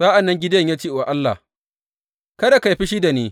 Sa’an nan Gideyon ya ce wa Allah, Kada ka yi fushi da ni.